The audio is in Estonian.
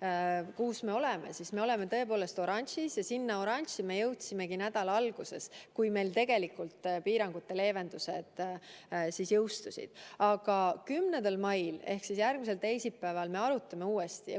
ohutasemest, siis me oleme tõepoolest oranžis ja sinna oranži me jõudsimegi nädala alguses, kui meil tegelikult piirangute leevendused jõustusid, aga 11. mail ehk siis järgmisel teisipäeval me arutame neid uuesti.